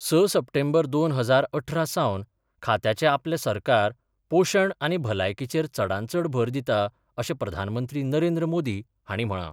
स सप्टेंबर दोन हजार अठरा सावन खात्याचे आपले सरकार पोषण आनी भलायकीचेर चडानचड भर दिता अशें प्रधानमंत्री नरेंद्र मोदी हांणी म्हळा.